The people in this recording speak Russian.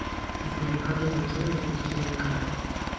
сбер как заблокировать утерянные карты